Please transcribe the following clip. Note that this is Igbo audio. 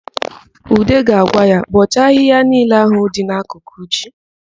Ude ga-agwa ya, "bọọchaa ahịhịa niile ahụ dị n'akụkụ ji"!